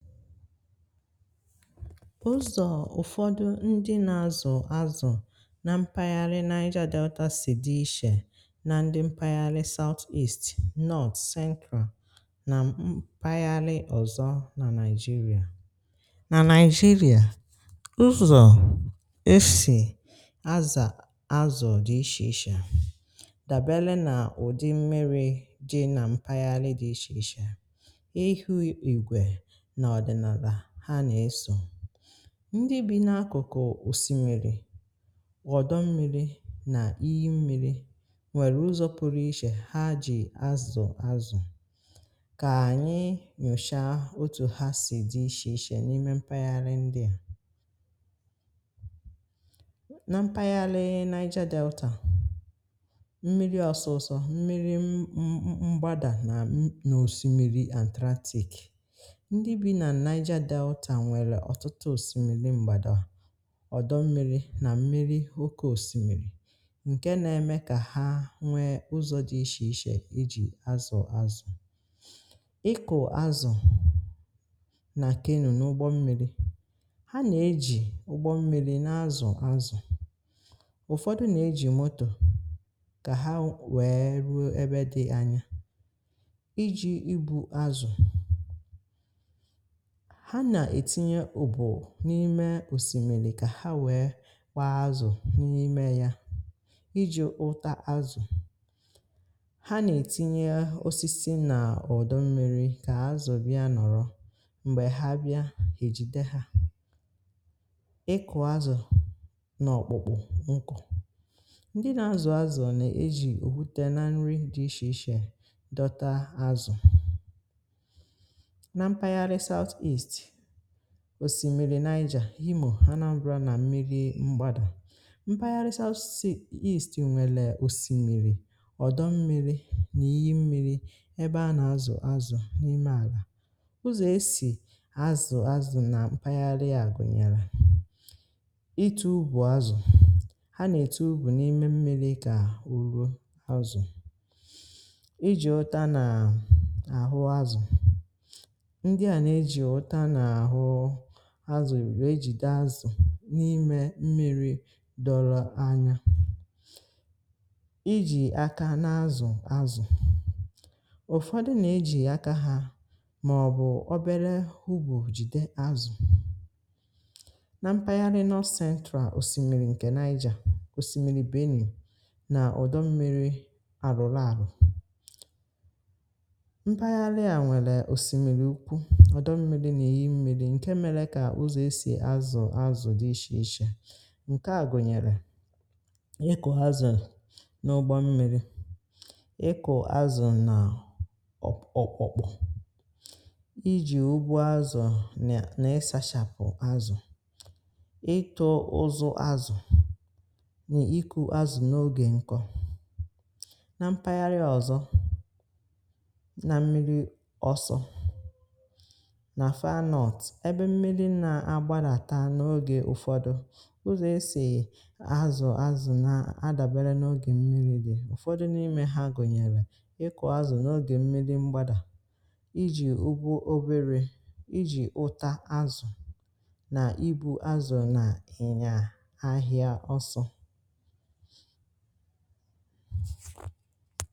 ụ̀zọ̀ ụ̀fọdụ ndị nà-azụ̀ àzụ̀ nà mpaghara Naija Delta sì dị̀ ichē nà ndị mpaghara Sọọtist Nọọt Sẹnkwà nà mpaghara ọ̀zọ̀ nà Nigeria. nà Nigeria, ụzọ̀ e sì àzụ̀ àzụ̀ dị̀ ichē ichē, dàbèlè nà ụ̀dị̀ mmí̄rì̄ dị̀ nà mpaghara dị̀ ichē ichē. ndị bi n’akụkụ̀ òsìmí̄rì̄, ghọ̀dọ̀ mmí̄rì̄ nà íhí̄ mmí̄rì̄, nwèrè ụzọ̀ pụrụ̇ ichē ha jì àzụ̀ àzụ̀. kà ànyị (um)nụ̀sha, otú̀ ha sì dị̀ ichē ichē n’ime mpàgharị ndị a nà mpàgharị Naija Delta. mmí̄rì̄ ọsọsọ̇, mmí̄rì̄ mgbadà nà n’òsìmí̄rì̄ and stratagy Naija Delta nwere ọtụtụ̀ òsìmí̄rì̄, mgbadà, ọdò mmí̄rì̄ nà mmí̄rì̄ òké òsìmí̄rì̄, nke nà-eme kà ha nwee ụzọ̀ dị̀ ichē ichē iji̇ àzụ̀ àzụ̀. ịkụ̀ àzụ̀ nà kingdom ụ́gbọ̀ mmí̄rì̄ ha nà-eji ụ́gbọ̀ mmí̄rì̄ na-azụ̀ àzụ̀, ụfọdụ̀ nà-eji moto kà ha wèe ruo ebe dị̀ anya ijì ibu àzụ̀. ha nà-etinye ùbù n’ime òsìmí̄lì̄ kà ha wèe kwa àzụ̀ n’ime ya, ijì ụtà àzụ̀, ha nà-ètinye osisi n’ọ̀dọ̀ mmí̄rì̄ kà àzụ̀ bịa nọrọ̀ m̀gbè ha bịa hà èjide ha. ịkụ̀ àzụ̀ n’ọ̀kpụ̀kpụ̇, nkụ̇ ndị nà-azụ̀ àzụ̀ nà-ejì òhùté nà nri dị̀ ichē ichē dọta àzụ̀ òsìmí̄rì̄. nà Nigeria Imò̄, ha nàbụ̀rǎ nà mmí̄rì̄ mgbadà. mpàgharịsa osisi nwélè òsìmí̄rì̄, ọ̀dọ̀ mmí̄rì̄ nà íyì mmí̄rì̄ ebe a nà-azụ̀ àzụ̀ n’ime àlà. ụzọ̀ e sì àzụ̀ àzụ̀ nà mpàgharị a gụ̀nyèrè itù̇ ùbù àzụ̀, ha nà-ètù ùbù n’ime mmí̄rì̄ kà ùrò àzụ̀ iji̇ ọ̀tà nà àhụ̀ àzụ̀. àzụ̀ àzụ̀, írụ ejide àzụ̀ n’ime mmí̄rì̄ dọ́lọ̀ anya, ijì aka na-azụ̀ àzụ̀ ụ̀fọdụ̀ nà-ejì aka ha màọbụ̀ obere hụ̀bụ̀ jìde àzụ̀. nà mpaghara Nọọ̀sèntràl, òsìmí̄rì̄ ǹkè Nigeria, òsìmí̄rì̄ Benin nà ọ̀dọ̀ mmí̄rì̄ Àrụ̀lụ̀ Àrụ̀, ǹkè mèrè kà ụzọ̀ e sì àzụ̀ àzụ̀ dị̀ ichē ichē. ǹkè à gụ̀nyèrè ịkụ̀ àzụ̀ n’ùgbà mmí̄rì̄, ịkụ̀ àzụ̀ nà okpòkpò, iji̇ ụ́gbọ̀ àzụ̀ nà n’isàchàpụ̀ àzụ̀, itù̀ ụzụ̀ àzụ̀ nà ikù àzụ̀ n’ogè nkọ̄. nà mpàgharị ọzọ̀ nà mmí̄rì̄ ọsọ̇, ebe mmí̄rì̄ nà-agbalàtà n’ogè ụfọdụ̀, ụzọ̀ e sì àzụ̀ àzụ̀ nà-adàbère n’ogè mmí̄rì̄ dị̀. ụ̀fọdụ̀ n’ime ha gụ̀nyèrè ịkụ̀ àzụ̀ n’ogè mmí̄rì̄ mgbadà, ijì ụ̀gwù̀ obere, ijì ụ̀tà àzụ̀, nà ibu àzụ̀ nà ịnyà ahịa ọsụ̇.